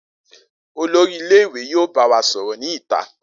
Olori ile-iwe yoo ba wa sọrọ ni ita.